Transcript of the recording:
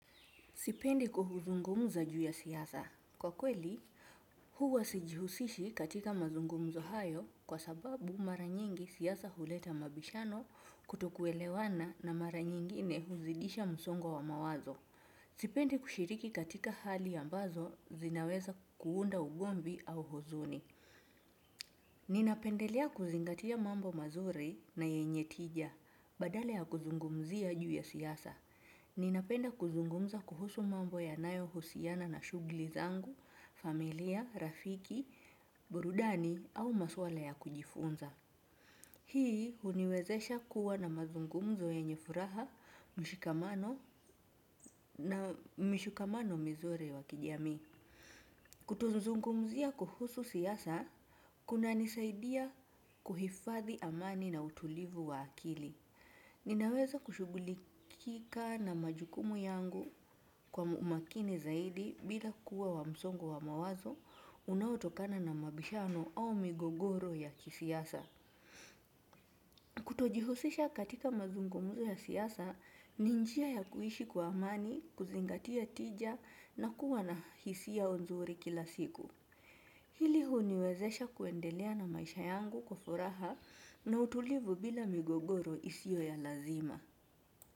Sipendi kuzungumza juu ya siasa. Kwa kweli, huwa sijihusishi katika mazungumzo hayo kwa sababu mara nyingi siasa huleta mabishano kutokuelewana na mara nyingine huzidisha msongo wa mawazo. Sipendi kushiriki katika hali ambazo zinaweza kuunda ugomvi au huzuni. Ninapendelea kuzingatia mambo mazuri na yenye tija badala ya kuzungumzia juu ya siasa. Ninapenda kuzungumza kuhusu mambo yanayohusiana na shugli zangu, familia, rafiki, burudani au maswala ya kujifunza. Hii huniwezesha kuwa na mazungumzo yenye furaha, mshikamano na mshikamano mizuri wa kijamii. Kutuzungumzia kuhusu siasa, kunanisaidia kuhifadhi amani na utulivu wa akili. Ninaweza kushughulikika na majukumu yangu kwa umakini zaidi bila kuwa wa msongo wa mawazo unaotokana na mabishano au migogoro ya kisiasa. Kutojihusisha katika mazungumuzo ya siasa, ni njia ya kuishi kwa amani, kuzingatia tija na kuwa na hisia nzuri kila siku. Hili huniwezesha kuendelea na maisha yangu kwa furaha na utulivu bila migogoro isio ya lazima.